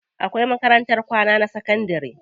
Akwai makarantar kwana na sakandari.